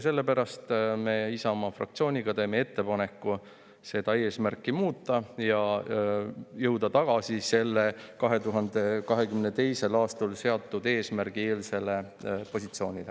Sellepärast teeb Isamaa fraktsioon ettepaneku seda eesmärki muuta ja tagasi selle 2022. aastal seatud eesmärgi eelsele positsioonile.